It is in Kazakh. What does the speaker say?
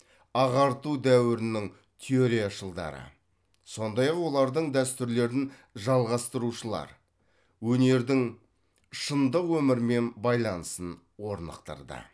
ағарту дәуірінің теорияшылдары сондай ақ олардың дәстүрлерін жалғастырушылар өнердің шындық өмірмен байланысын орнықтырды